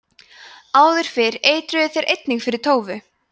áður fyrr eitruðu þeir einnig fyrir tófu